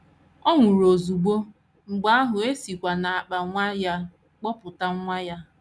Ọ nwụrụ ozugbo, mgbe ahụ e sikwa n’akpa nwa ya bọpụta nwa ya.